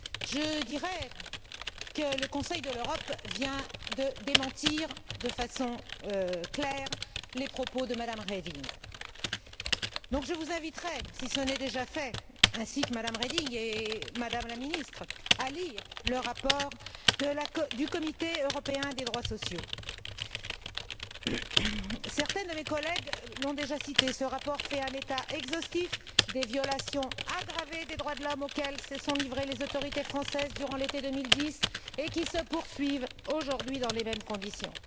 Je dirais que le Conseil de l'Europe vient de démentir, de façon claire, les propos de Mme Reding. Je vous invite si ce n'est déjà fait ainsi que Mme Reding et Mme la ministre, à lire le rapport du Comité européen des droits sociaux. Certains de mes collègues l'ont déjà cité. Ce rapport fait un état exhaustif des violations aggravées des droits de l'homme auxquelles se sont livrées les autorités françaises durant l'été 2010 et qui se poursuivent aujourd'hui dans les mêmes conditions.